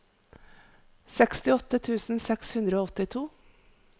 sekstiåtte tusen seks hundre og åttito